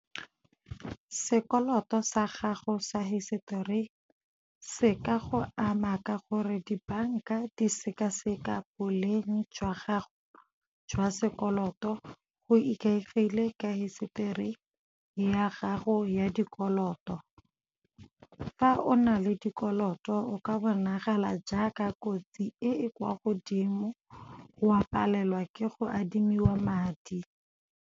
Sekoloto sa gago sa hisetori se ka go ama ka gore dibanka di sekaseka boleng jwa gago jwa sekoloto go ikaegile ka hisetori ya gago ya dikoloto. Fa o na le dikoloto o ka bonagala jaaka kotsi e e kwa godimo, wa palelwa ke go adimiwa madi.